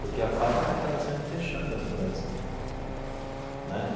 Porque a fábrica estava sendo fechada no Brasil né.